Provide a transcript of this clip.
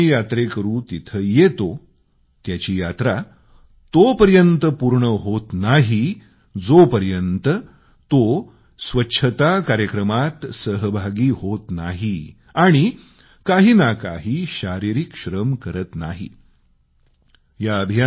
जो कोणी यात्रेकरू तिथं येतो त्यानं त्याची यात्रा पूर्ण करण्यासाठी स्वच्छता कार्यक्रमात सहभागी होऊन काही ना काही शारीरिक श्रम करण्याची पद्धत सुरू केली आहे